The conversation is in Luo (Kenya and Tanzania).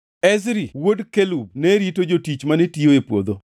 Ezri wuod Kelub ne rito jotich mane tiyo e puodho.